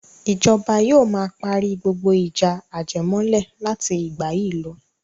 Ìjọba yóò ma parí gbogbo ìjà ajẹmọ́lẹ̀ láti ìgbà yìí lọ.